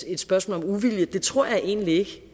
et spørgsmål om uvilje det tror jeg egentlig ikke